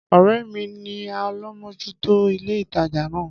Ọ̀rẹ́ mi ni alámòjútó ilé ìtajà na